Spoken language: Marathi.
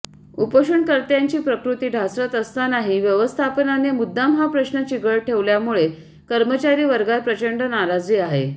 उपोषणकर्त्यांची प्रकृती ढासळत असतानाही व्यवस्थापनाने मुद्दाम हा प्रश्न चिघळत ठेवल्यामुळे कर्मचारी वर्गात प्रचंड नाराजी आहे